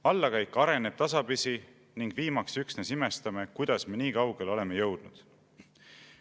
Allakäik areneb tasapisi ning viimaks üksnes imestame, kuidas me nii kaugele oleme jõudnud.